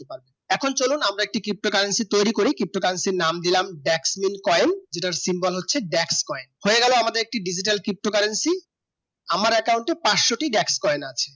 এখন চলুন আমরা একটি ptocurrency তৈরি করি ptocurrency নাম দিলাম black man coin এই সিম্বল হচ্ছে back coin হয়ে গেল আমাদের digitalptocurrency আমার account এই পাঁচশো টি racket coin আছে